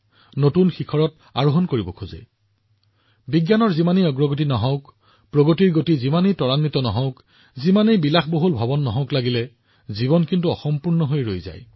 প্ৰগতিৰ গতি যিমানেই দ্ৰুত নহওঁক কিয় ভৱনটো যিমানেই বিশাল নহওঁক কিয় জীৱনে তথাপিও অসম্পূৰ্ণ অনুভৱ কৰে